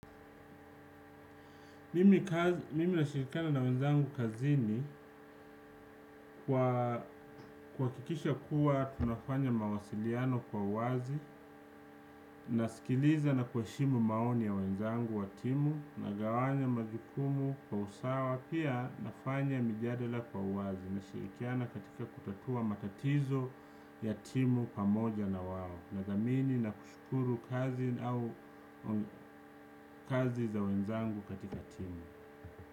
Mimi nashirikana na wenzangu kazini kuhakikisha kuwa tunafanya mawasiliano kwa uwazi, nasikiliza na kuheshimu maoni ya wenzangu wa timu, nagawanya majukumu kwa usawa, pia nafanya mijadala kwa uwazi nashirikiana katika kutatua matatizo ya timu pamoja na wao, nadhamini na kushukuru kazi za wenzangu katika timu.